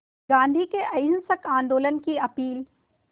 गांधी के अहिंसक आंदोलन की अपील